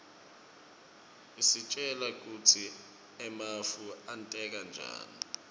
isitjela kutsi emafu enteka njani